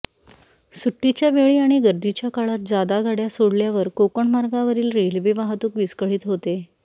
सुट्टीच्या वेळी आणि गर्दीच्या काळात जादा गाड्या सोडल्यावर कोकण मार्गावरील रेल्वे वाहतूक विस्कळीत होते